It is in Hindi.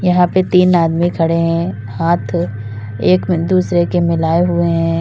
यहां पे तीन आदमी खड़े हैं हाथ एक दूसरे के मिलाए हुए हैं।